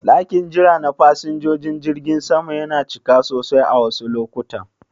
Ɗakin jira na fasinjojin jirgin sama yana cika sosai a wasu lokutan.